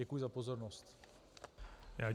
Děkuji za pozornost.